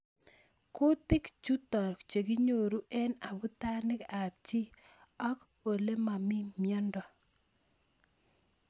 Kutik chutok kenyoru eng abutanik ab chi ak olemamii mnyendo.